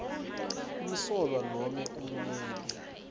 umsolwa nome ummeli